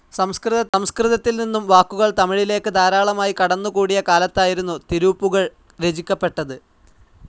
സംസ്കൃതത്തിൽ നിന്നും വാക്കുകൾ തമിഴിലേക്ക് ധാരാളമായി കടന്ന്കൂടിയ കാലത്തായിരുന്നു തിരൂപ്പുകഴ് രചിക്കപ്പെട്ടത്.